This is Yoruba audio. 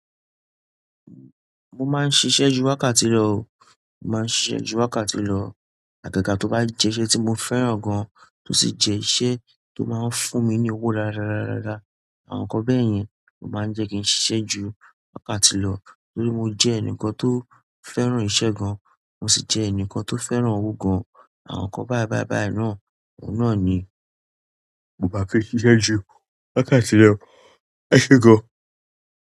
Mo máa ń ṣiṣẹ́ ju wákàtí lọ o. Mo máa ń ṣiṣẹ́ ju wákàtí lọ. Àgaga tó bá jẹ́ iṣẹ́ tí mo fẹ́ràn gan-an, tó sì jẹ́ iṣẹ́ tó máa ń fún mi ní owó dáadáa dáadáa dáadáa dá, àwọn nǹkan bẹ́ẹ̀ yẹn o máa ń jẹ́ kí n ṣiṣẹ́ ju wákàtí lọ. Torí mo jẹ́ ẹnìkan tó fẹ́ràn ìṣe gan, mo sì jẹ́ ẹnìkan tó fẹ́ràn owó gan. Àwọn nǹkan báì báì báì náà, òun náà ni mo bá fi ṣiṣẹ́ ju wákàtí lọ. Ẹ ṣé gan.